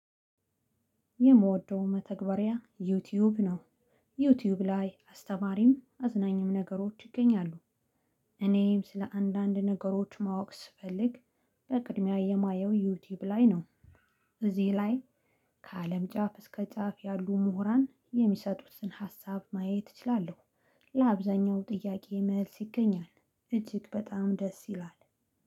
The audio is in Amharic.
የምወደው መተግበሪያ ዩቲዩብ ነው ዩቲዩብ ላይ አስተማሪም አዝናኝም ነገሮች ይገኛሉ። እኔንም ስለ አንዳንድ ነገሮች ማወቅ ስፈልግ በቅድሚያ የማየው ዩቲዩብ ላይ ነው እዚህ ላይ ከአለም ጫፍ እስከ ጫፍ ያሉ ምሁራን የሚሰጡትን ሀሳብ ማየት እችላለሁ። ለአብዛኛው ጥያቄ መልስ ይገኛል እጅግ በጣም ደስ ይላል።